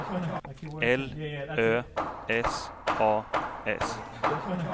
L Ö S A S